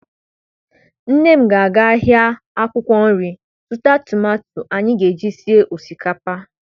Nne m ga-aga ahịa akwụkwọ nri zụta tomato anyị ga-eji sie osikapa.